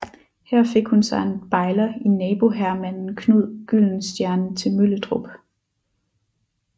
Her fik hun sig en bejler i naboherremanden Knud Gyldenstierne til Møllerup